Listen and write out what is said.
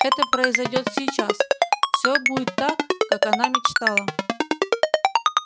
это произойдёт сейчас всё будет так как она мечтала